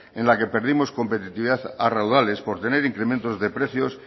en las que perdidos competitividad a raudales por tener incrementos de precios